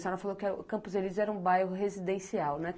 A senhora falou que Campos Elíseos era um bairro residencial, né?